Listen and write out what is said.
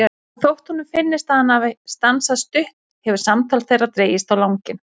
Og þótt honum finnist að hann hafi stansað stutt hefur samtal þeirra dregist á langinn.